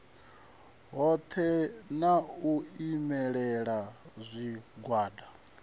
hoṱhe na u imelela zwigwada